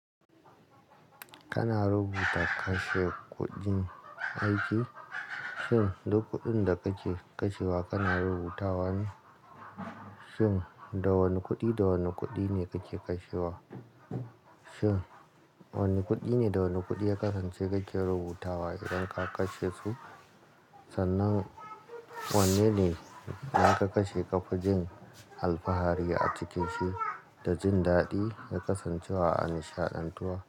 Kana rubuta kashe kuɗin aiki?, shin duk kuɗin da kake kashewa kana rubutawa ne? Shin da wane kuɗi da wane kuɗi ne kake kashewa? Shin wane kuɗi ne da wane kuɗi ya kasance kake rubutawa idan ka kashe su? Sannan wanne ne idan ka kashe ƙafajin alfahari a cikinsu da jin daɗi ya kasance a nishaɗantuwa?